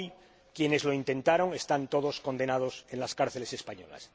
Hoy, quienes lo intentaron están todos condenados en cárceles españolas.